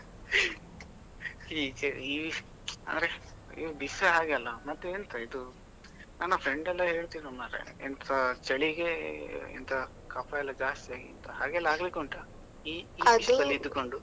ಈಚೆ, ಅಂದ್ರೆ ಈಗ ಬಿಸ್ಲೆ ಹಾಗೆ ಅಲ್ಲ, ಮತ್ತೆ ಎಂತಾ ಇದು ನನ್ನ friend ಎಲ್ಲಾ ಹೇಳ್ತಿದ್ರು ಮರ್ರೆ, ಚಳಿಗೆ ಎಂತಾ ಕಫ ಎಲ್ಲಾ ಜಾಸ್ತಿ ಆಗಿದೆ, ಹಾಗೆಲ್ಲ ಆಗ್ಲಿಕ್ಕೆ ಉಂಟಾ place ಅಲ್ಲಿ ಇದ್ದು ಕೊಂಡು?